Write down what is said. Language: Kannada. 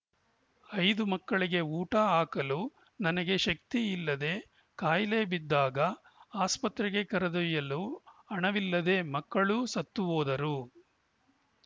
ಐದು ಮಕ್ಕಳಿಗೆ ಊಟ ಹಾಕಲು ನನಗೆ ಶಕ್ತಿ ಇಲ್ಲದೆ ಕಾಯಿಲೆ ಬಿದ್ದಾಗ ಆಸ್ಪತ್ರೆಗೆ ಕರೆದೊಯ್ಯಲು ಹಣವಿಲ್ಲದೆ ಮಕ್ಕಳೂ ಸತ್ತು ಹೋದರು